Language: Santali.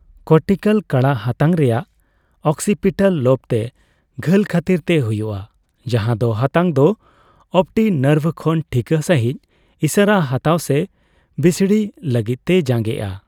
ᱠᱚᱨᱴᱤᱠᱟᱞ ᱠᱟᱬᱟᱜ ᱦᱟᱛᱟᱝ ᱨᱮᱭᱟᱜ ᱚᱠᱥᱤᱯᱤᱴᱟᱞ ᱞᱳᱵᱛᱮ ᱜᱷᱟᱹᱞ ᱠᱷᱟᱹᱛᱤᱨᱛᱮ ᱦᱩᱭᱩᱜᱼᱟ, ᱡᱟᱦᱟᱸ ᱫᱚ ᱦᱟᱛᱟᱝ ᱫᱚ ᱚᱯᱴᱤᱠ ᱱᱟᱨᱵᱷ ᱠᱷᱚᱱ ᱴᱷᱤᱠᱟᱹ ᱥᱟᱹᱦᱤᱡ ᱤᱥᱟᱹᱨᱟ ᱦᱟᱛᱟᱣ ᱥᱮ ᱵᱤᱥᱲᱤ ᱞᱟᱹᱜᱤᱫᱛᱮᱭ ᱡᱟᱸᱜᱮᱼᱟ ᱾